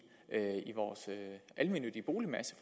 vores almennyttige boligmasse